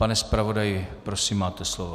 Pane zpravodaji, prosím, máte slovo.